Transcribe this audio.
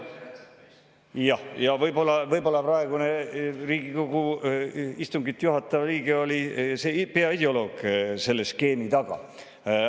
Võib-olla praegu Riigikogu istungit juhatav liige oli peaideoloog selle skeemi taga.